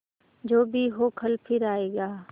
जो भी हो कल फिर आएगा